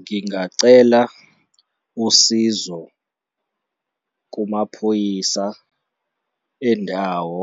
Ngingacela usizo kumaphoyisa endawo